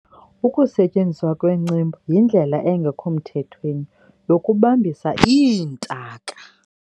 ukusetyenziswa kwencembu yindlela engekho mthethweni yokubambisa iintaka